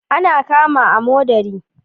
Ana cama amodari.